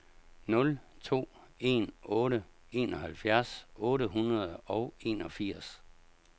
nul to en otte enoghalvfjerds otte hundrede og enogfirs